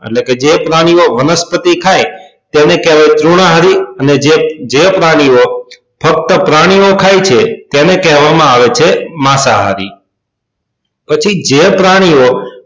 એટલે કે જે પ્રાણીઓ વનસ્પતિઓ ખાય તેને કહેવાય તૃણાહારી અને જે જે પ્રાણીઓ ફક્ત પ્રાણીઓ ખાય છે તેને કહેવા માં આવે છે માંસાહારી પછી જે પ્રાણીઓ